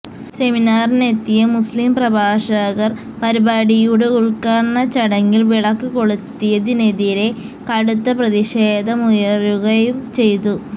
സെമിനാറിനെത്തിയ മുസ്ലിം പ്രഭാഷകർ പരിപാടിയുടെ ഉദ്ഘാടനച്ചടങ്ങളിൽ വിളക്ക് കൊളുത്തിയതിനെതിരെ കടുത്ത പ്രതിഷേധമുയരുകയും ചെയ്തു